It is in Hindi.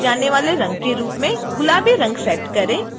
toolbox में भरे जाने वाले रंग के रूप में गुलाबी रंग सेट करें